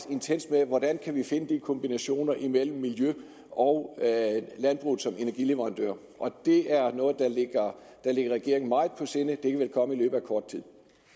intenst med hvordan vi kan finde de kombinationer mellem miljøet og landbruget som energileverandør det er noget der ligger regeringen meget på sinde og det vil komme i løbet af kort tid